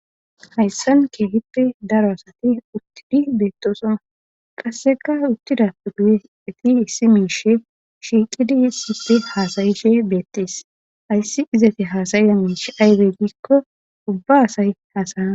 Hayssan keehippe daro asati uttidi beettosona qasseka uttida pe duyeeti hissi miishe shiiqida yissife haasayishe beettees hayssi izati haasayiza miish aybe giikko ubba asay hasayan